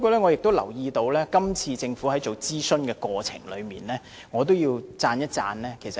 我留意到今次政府的諮詢工作做得不錯，我要稱讚一下政府。